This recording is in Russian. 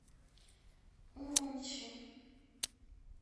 урумчи